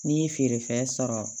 N'i ye feerefɛn sɔrɔ